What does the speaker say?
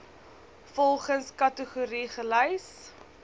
volgens kategorie gelys